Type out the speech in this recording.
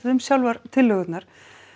um sjálfar tillögurnar